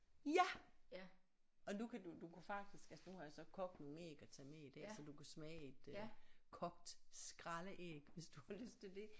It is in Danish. Ja og nu kan du du kan faktisk altså nu har jeg så kogt nogle æg og taget med i dag så du kan smage et øh kogt skraldeæg hvis du har lyst til det